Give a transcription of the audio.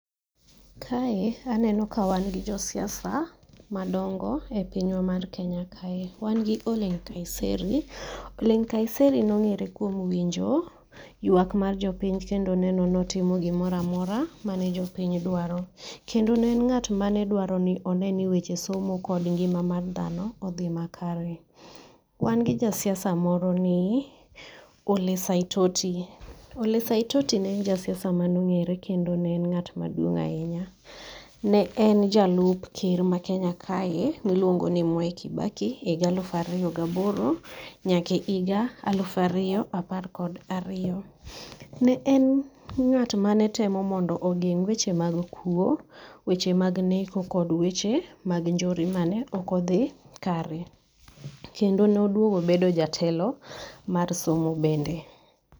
Kae aneno ka wan kod jo siasa madongo e pinywa mar Kenya kae, wan gi Ole Kanseri, Ole Kanseri ne ong'ere kuom winjo ywak mar jopiny kendo neno ni otimo gimoro amora mane jopiny dwaro kendo ne en ng'at mane dwaro ni one niweche somo kod ngima mar dhano odhi makare. Wan kod ja siasa moro ni Ole Saitoti, Ole Saitoti ne en jasiasa ma ne ong'ere kendo ne en ng'at maduong' ahinya, ne en jalup ker ma Kenya kae milungo ni Mwai Kibaki e higa alufu ariyo gi aboro nyaka e higa alufu ariyo apar kod ariyo. Ne en ng'at manetemo mondo ogeng' weche mag kuo, weche mag neko kod weche mag njore mane ok odhi kare. Kendo ne oduogo obedo jatelo mar somo bende.